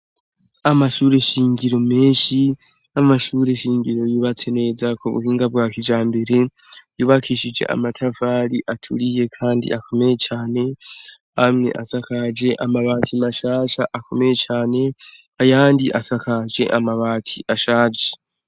Amashure shingiro menshi, amashure shingiro yubatse neza ku buhinga bwa kijambere, yubakishije amatafari aturiye kandi akomeye cane, amwe asakaje amabati mashasha akomeye cane, ayandi asakaje amabati ashaje.